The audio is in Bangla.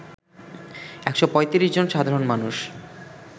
১৩৫ জন সাধারণ মানুষ